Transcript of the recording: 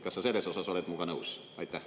Kas sa selles osas oled minuga nõus?